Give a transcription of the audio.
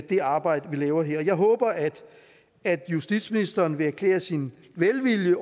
det arbejde vi laver her jeg håber at at justitsministeren vil erklære sin velvilje